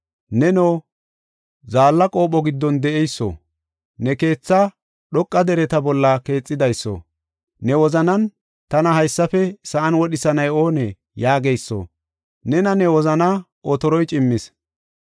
Neno, zaalla qopho giddon de7eyso, ne keethaa dhoqa dereta bolla keexidayso, ne wozanan, ‘Tana haysafe sa7an wodhisanay oonee?’ yaageyso, nena ne wozanaa otoroy cimmis.